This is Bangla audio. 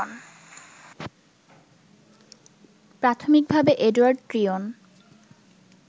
প্রাথমিকভাবে এডোয়ার্ড ট্রিয়ন